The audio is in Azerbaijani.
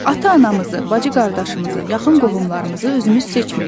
Ata-anamızı, bacı-qardaşımızı, yaxın qohumlarımızı özümüz seçmirik.